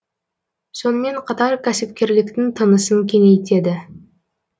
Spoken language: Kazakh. сонымен қатар кәсіпкерліктің тынысын кеңейтеді